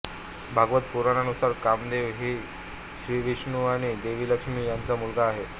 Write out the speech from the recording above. भागवत पुराणानुसार कामदेव हा श्रीविष्णु आणि देवी लक्ष्मी यांचा मुलगा आहे